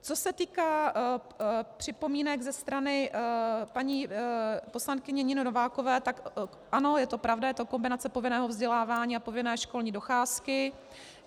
Co se týká připomínek ze strany paní poslankyně Niny Novákové, tak ano, je to pravda, je to kombinace povinného vzdělávání a povinné školní docházky.